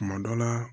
Kuma dɔ la